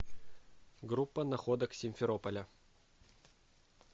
группа находок симферополя